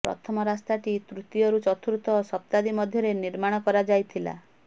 ପ୍ରଥମ ରାସ୍ତାଟି ତୃତୀୟରୁ ଚତୁର୍ଥ ଶତାବ୍ଦୀ ମଧ୍ୟରେ ନିର୍ମାଣ କରାଯାଇଥିଲା